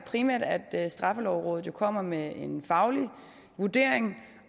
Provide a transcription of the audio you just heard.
primært at straffelovrådet jo kommer med en faglig vurdering